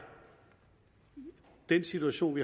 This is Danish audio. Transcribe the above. den situation